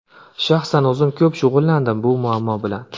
Shaxsan o‘zim ko‘p shug‘ullandim shu muammo bilan.